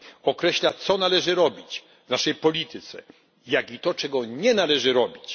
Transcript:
Określa, co należy robić w naszej polityce oraz to, czego nie należy robić.